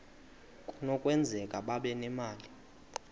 kunokwenzeka babe nemali